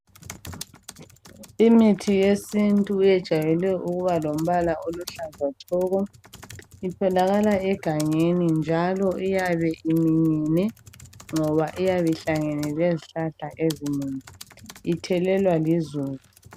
Imithi yesintu yejwayele ukuba lombala oluhlaza tshoko. Itholakala egangeni njalo iyabe iminyene ngoba iyabe ihlangene lezihlahla ezinengi. Ithelelwa lizulu.